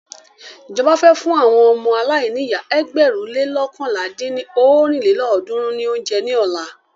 Ìjọba fẹ́ fún àwọn ọmọ aláìníyá ẹgbẹ̀rún le loókànlá dín ní ọ́rin lélọ́ọ̀dúnrún ní óúnjẹ ní ọ̀la.